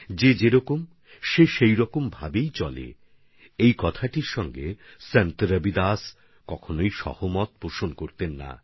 যা যেরকম আছে সেরকম চলতে থাকুক রবিদাসজি কখনই এর পক্ষে ছিলেন না